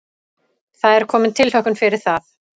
Það er komin tilhlökkun fyrir það.